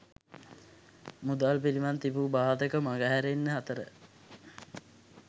මුදල් පිළිබඳ තිබූ බාධක මග හැරෙන අතර